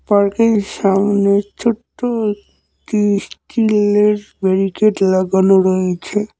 সামনে ছোট্ট একটি স্টিলের ব্যারিকেড লাগানো রয়েছে।